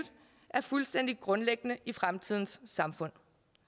er fuldstændig grundlæggende i fremtidens samfund